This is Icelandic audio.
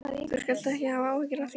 Þú skalt ekki hafa áhyggjur af því.